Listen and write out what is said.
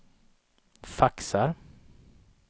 faxar